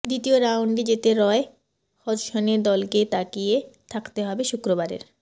দ্বিতীয় রাউন্ডে যেতে রয় হজসনের দলকে তাকিয়ে থাকতে হবে শুক্রবারের